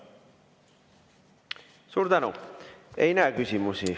Suur tänu!